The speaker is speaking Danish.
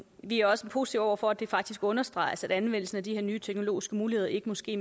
vi er også positive over for at det faktisk understreges at anvendelsen af de her nye teknologiske muligheder ikke må ske